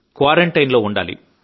quarantine లో ఉండాలి